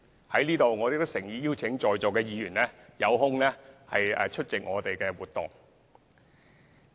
我在此亦誠意邀請在座議員抽空出席我們的活動。